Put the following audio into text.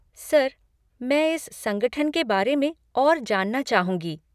Sir, मैं इस संगठन के बारे में और जानना चाहूँगी।